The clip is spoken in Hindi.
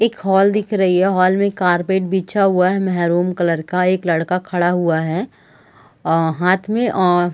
एक हॉल दिखा रही है हॉल में एक कारपेट बिछा हुआ है मेरून कलर का एक लड़का खड़ा हुआ है अ हाथ में और--